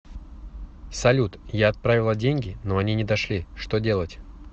салют я отправила деньги но они не дошли что делать